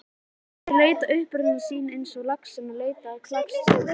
Þeir leita uppruna síns eins og laxinn leitar á klakstöðvarnar.